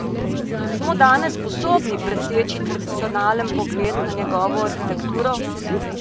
Smo danes sposobni preseči tradicionalen pogled na njegovo arhitekturo?